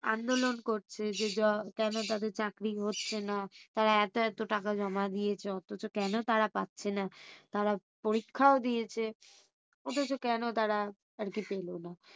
আন্দোলন করছে যে কেন তাদের চাকরি হচ্ছে না তারা এতো এতো টাকা জমা দিয়েছে অথচ কেন তারা পাচ্ছে না তারা পরীক্ষাও দিয়েছে অথচ কেন তারা আরকি পেলোনা?